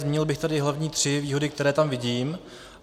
Zmínil bych tady hlavně tři výhody, které tam vidím.